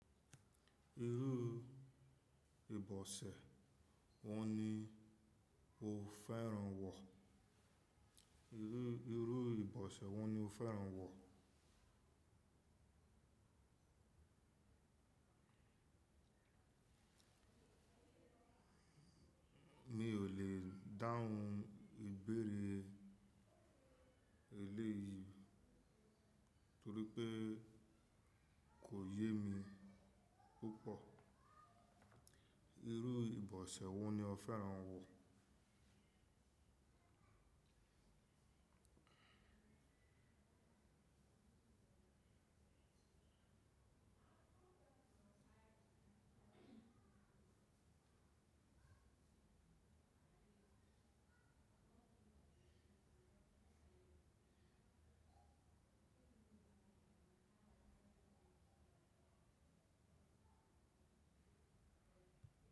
Irú ìbọ̀sẹ̀ wo ni o fẹ́ràn wọ̀? Mi ò lè dáhùn ìbéèrè eléyii torí pé kò yé mi púpọ̀. Irú ìbọ̀sẹ̀ wo ni o fẹ́ràn wọ̀?